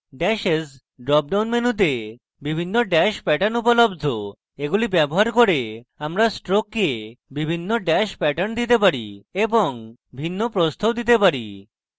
dashes drop down মেনুতে বিভিন্ন dash pattern উপলব্ধ এগুলি ব্যবহার করে আমরা stroke বিভিন্ন ড্যাশ প্যাটার্ন দিতে vary এবং ভিন্ন প্রস্থও দিতে vary